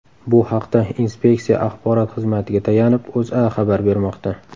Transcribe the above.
Bu haqda inspeksiya axborot xizmatiga tayanib, O‘zA xabar bermoqda .